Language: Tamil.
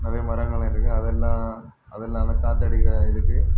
ஓரு மரகள் இருக்கு அதெல்லாம் அதெல்லா நல்லா காதாடிக்க இருக்கு.